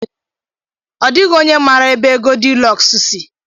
Ọ dịghị onye maara ebe Goldilọks si.